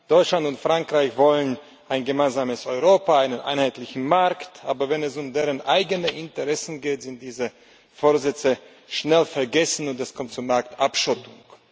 Deutschland und Frankreich wollen ein gemeinsames Europa, einen einheitlichen Markt, aber wenn es um deren eigene Interessen geht, sind diese Vorsätze schnell vergessen, und es kommt zur Marktabschottung.